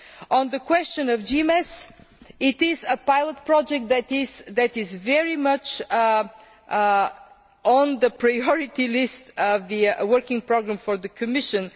hits. On the question of GMES, this is a pilot project that is very much on the priority list of the working programme for the Commission.